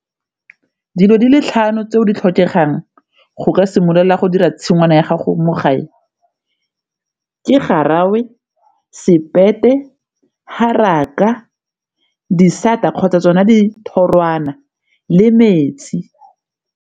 Dilo di le tlhano tse di tlhokegang go ka simolola go dira tshingwana ya gago mo gae ke garagwe, haraka, disata kgotsa tsona di thoroana le metsi.